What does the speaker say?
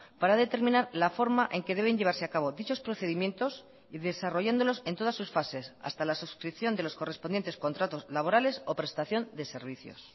para determinar la forma en que deben llevarse a cabo dichos procedimientos y desarrollándolos en todas sus fases hasta la suscripción de los correspondientes contratos laborales o prestación de servicios